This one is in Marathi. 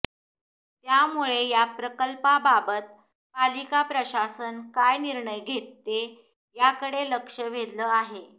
त्यामुळे या प्रकल्पाबाबत पालिका प्रशासन काय निर्णय घेते याकडे लक्ष वेधलं आहे